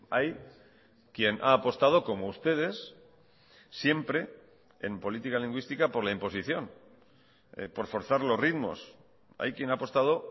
hay quien ha apostado como ustedes siempre en política lingüística por la imposición por forzar los ritmos hay quien ha apostado